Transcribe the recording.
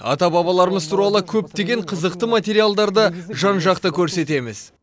ата бабаларымыз туралы көптеген қызықты материалдарды жан жақты көрсетеміз